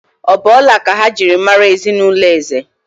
Ọ̀ bụ ọla ka ha ji mara ezinụlọ Eze?